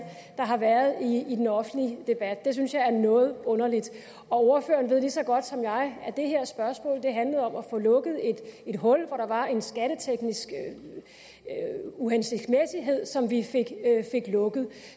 der har været i den offentlige debat det synes jeg er noget underligt ordføreren ved lige så godt som jeg at det her spørgsmål handlede om at få lukket et hul der var en skatteteknisk uhensigtsmæssighed som vi fik lukket